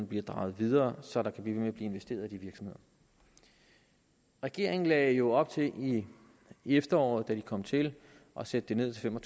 bliver drevet videre så der kan blive investeret i de virksomheder regeringen lagde jo op til i efteråret da de kom til at sætte det ned til fem og